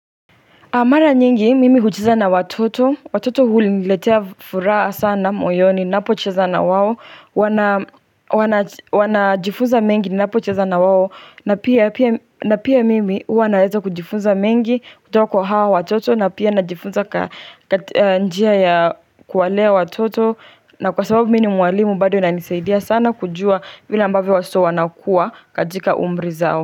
Mara nyingi, mimi hucheza na watoto, watoto huniletea furaha sana moyoni, ninapocheza na wao, wanajifunza mengi ninapocheza na wao, na pia mimi huwa naweza kujifunza mengi, kutoka kwa hao watoto, na pia najifunza njia ya kuwalea watoto, na kwa sababu mimi ni mwalimu bado inanisaidia sana kujua vile ambavyo watoto wanakua, katika umri zao.